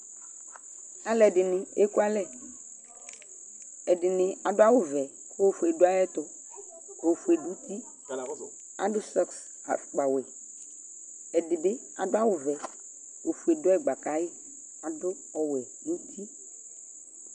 Alu ɛdini ekualɛ Ɛdini adʋ awu vɛ kʋ ofue dʋ ayɛtuOfue dʋtiAdʋ soks ,afukpa wɛƐdibi adʋ awu vɛ, ofue dʋ ɛgba kayiAdʋ ɔwɛ nuti